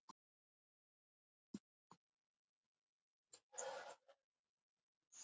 Lætur þá skoðun í ljós enn einu sinni að þetta geti ekki gengið svona lengur.